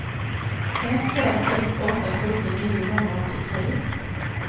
fem fem ett åtta sjutton niohundraåttiotre